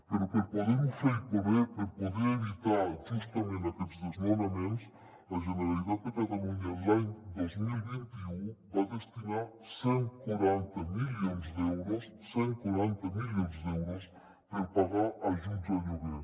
però per a poder ho fer i poder evitar justament aquests desnonaments la generalitat de catalunya l’any dos mil vint u va destinar cent i quaranta milions d’euros cent i quaranta milions d’euros per pagar ajuts al lloguer